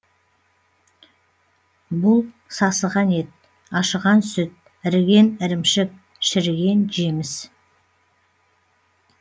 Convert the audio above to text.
бұл сасыған ет ашыған сүт іріген ірімшік шіріген жеміс